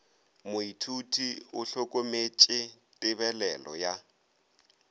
moithuti o hlokometše tebelelo ya